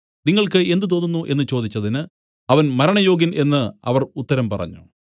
നിങ്ങൾക്ക് എന്ത് തോന്നുന്നു എന്നു ചോദിച്ചതിന് അവൻ മരണയോഗ്യൻ എന്നു അവർ ഉത്തരം പറഞ്ഞു